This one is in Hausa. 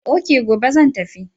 Ok, gobe zan tafi.